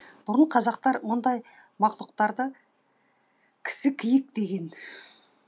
бұрын қазақтар мұндай мақұлықтарды кісікиік деген